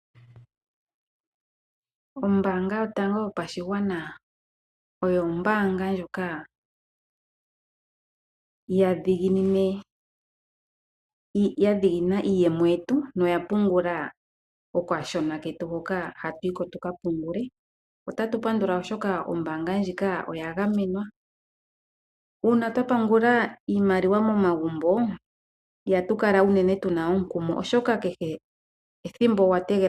Ombaanga yotango yopashigwana oyo ombaanga ndjoka ya dhiginina iiyemo yetu noya pungula okashona ketu hoka hatu yi ko tu ka pungule. Otatu pandula, oshoka ombaanga ndjika oya gamenwa. Uuna twa pungula iimaliwa momagumbo ihatu kala unene tu na omukumo.